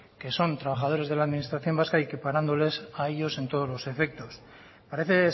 que son trabajadores de la administración vasca y equiparándoles a ellos en todos los efectos parece